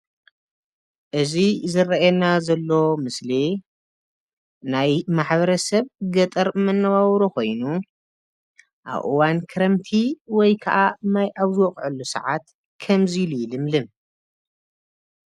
እዚ ዝረአየና ዘሎ ምስሊ ናይ ማሕበርሰብ ገጠር መነባብሮ ኮይኑ አብ እዋን ክረምቲ ወይ ከዓ ማይ አብ ዝወቅዐሉ ሰዓት ከምዚ ኢሉ ይልምልም።